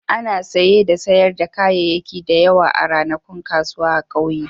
Ana saye da sayar da kayayyaki da yawa a ranakun kasuwa a ƙauyen.